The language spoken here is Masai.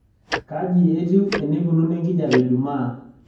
kaji etiu eneikununo enkijiape jumaa